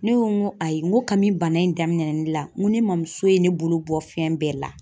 Ne ko n ko ayi, n ko kami bana in daminɛna ne la, n ko ne mamuso ye ne bolo bɔ fɛn bɛɛ la.